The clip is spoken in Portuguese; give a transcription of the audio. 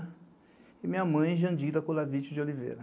E minha mãe, Jandira Colavich de Oliveira.